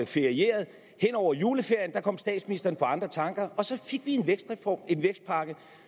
ferierede hen over juleferien kom statsministeren på andre tanker og så fik vi en vækstreform en vækstpakke